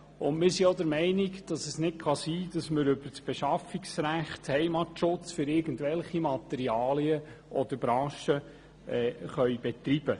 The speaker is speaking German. Wir sind zudem der Meinung, dass es nicht sein kann, über das Beschaffungsrecht Heimatschutz für irgendwelche Materialien oder Branchen zu betreiben.